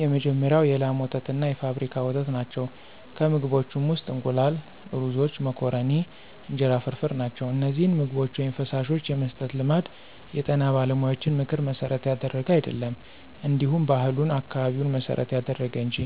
የመጀመሪያው የላም ወተትና የፋብሪካ ወተት ናቸው፣ ከምግቦችም ውስጥ እንቁላል፣ ሩዞች፣ መኮረኒ፣ እንጀራ ፍርፍር ናቸው። እነዚህን ምግቦች/ፈሳሾች የመስጠት ልማድ የጤና ባለሙያዎችን ምክር መሠረት ያደረገ አይደለም እንዲሁ ባህሉን፣ አካባቢውን መሰረት ያደረገ እንጅ